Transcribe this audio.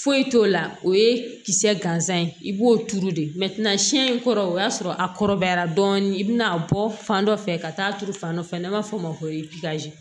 Foyi t'o la o ye kisɛ gansan ye i b'o turu de in kɔrɔ o y'a sɔrɔ a kɔrɔbayara dɔɔni i bɛna bɔ fan dɔ fɛ ka taa turu fan dɔ fɛ n'an b'a fɔ o ma ko